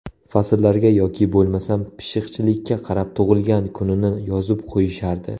Fasllarga yoki bo‘lmasam pishiqchilikka qarab tug‘ilgan kunini yozib qo‘yishardi.